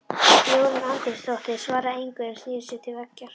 Jórunn Andrésdóttir svaraði engu, en snéri sér til veggjar.